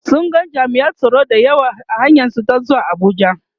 sun ga jami'an tsaro da yawa a hanyar su ta zuwa Abuja